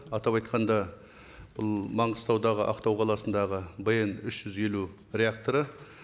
атап айтқанда бұл маңғыстаудағы ақтау қаласындағы бн үш жүз елу реакторы